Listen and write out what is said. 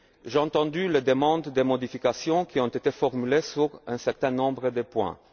J'ai entendu les demandes de modification qui ont été formulées sur un certain nombre de points.